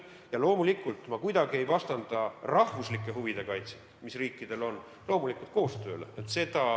Ja loomulikult ma kuidagi ei vastanda rahvuslike huvide kaitset, mis riikidel on, koostööle.